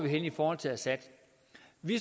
i forhold til assad at vi